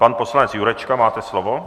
Pan poslanec Jurečka, máte slovo.